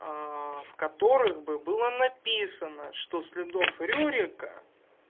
в которых бы было написано что следов рюрика